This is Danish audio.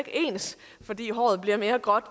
ens fordi håret bliver mere gråt